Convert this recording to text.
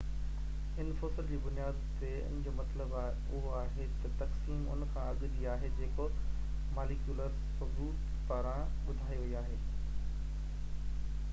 ان fossil جي بنياد تي ان جو مطلب اهو آهي ته تقسيم ان کان اڳ جي آهي جيڪو ماليڪيولر ثبوت پاران ٻڌائي وئي آهي